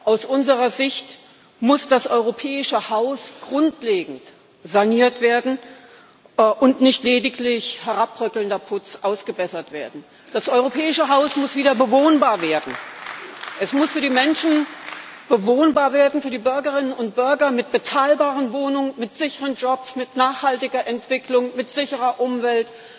Aus unserer Sicht muss das europäische Haus grundlegend saniert werden und nicht lediglich herabbröckelnder Putz ausgebessert werden. Das europäische Haus muss wieder bewohnbar werden. Es muss für die Bürgerinnen und Bürger bewohnbar werden mit bezahlbaren Wohnungen, mit sicheren Jobs, mit nachhaltiger Entwicklung, mit sicherer Umwelt